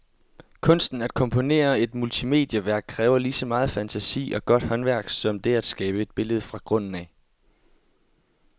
Kunsten at komponere et multimedieværk kræver lige så megen fantasi og godt håndværk som det at skabe et billede fra grunden af.